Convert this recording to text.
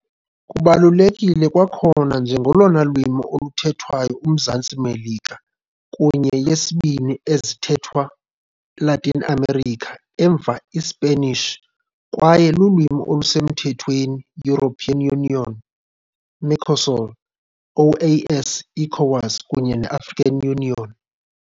Kubalulekile kwakhona njengolona lwimi oluthethwayo Umzantsi Melika kunye yesibini ezithethwa Latin America emva iSpanish, kwaye lulwimi olusemthethweni European Union, Mercosul, OAS, ECOWAS kunye African Union.